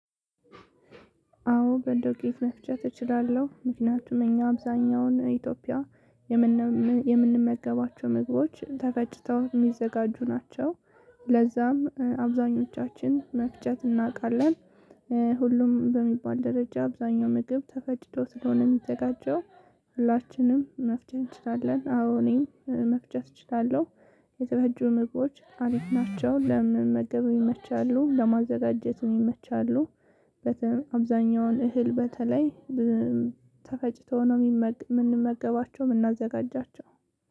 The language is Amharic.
አዎ በዱቄት መፍጨት እችላለሁ ምክንያቱም እኛ አብዛኛውን ኢትዮጵያ የምንመገባቸው ምግቦች ተፈጭተው የሚዘጋጁ ናቸው ለዛም አብዛኞቻችን መፍጨት እናውቃለን። ሁሉም በሚባል ደረጃ አብዛኛው ምግብ ተፈጭቶ ስለሆነ የሚዘጋጀው ሁላችንም መፍጨት እንችላለን አዎ እኔ መፍጨት እችላለሁ። የተፈጩ ምግቦች አሪፍ ናቸው ለመመገብ ይመቻሉ ለማዘጋጀትም ይመቻሉ እህል አብዛኛውን እህል በተለይ ተፈጭቶ ነው የምንመገባቸው የምናዘጋጃቸው